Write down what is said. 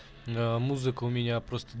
ээ музыка у меня просто